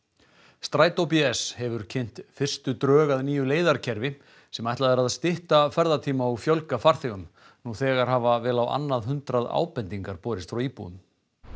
strætó bs hefur kynnt fyrstu drög að nýju leiðarkerfi sem ætlað er að stytta ferðatíma og fjölga farþegum nú þegar hafa vel á annað hundrað ábendingar borist frá íbúum